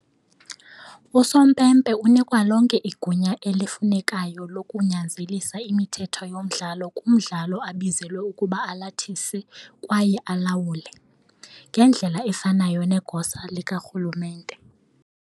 Usompempe unikwa lonke igunya elifunekayo lokunyanzelisa imithetho yomdlalo kumdlalo abizelwe ukuba alathise kwaye awulawule, ngendlela efanayo negosa likarhulumente .